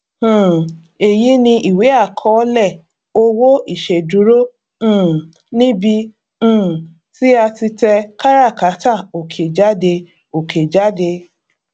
um èyí ni ìwé àkọọlẹ owó ìṣèdúró um níbi um tí a ti tẹ káràkátà òkè jáde òkè jáde